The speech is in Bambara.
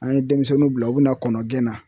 An ye demisɛnninw bila u bi na kɔnɔgɛn na